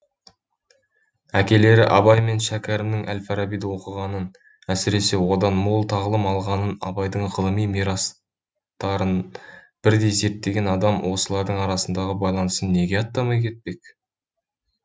әкелері абай мен шәкәрімнің әл фарабиді оқығанын әсіресе одан мол тағылым алғанын абайдың ғылыми мирастарын бірдей зерттеген адам осылардың арасындағы байланысын неге атамай кетпек